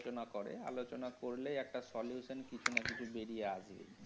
আলোচনা করে, আলোচনা করলেই একটা solution কিছু না কিছু বেরিয়ে আসবে।